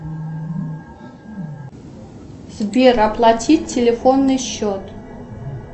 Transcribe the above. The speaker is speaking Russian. сбер оплати телефонный счет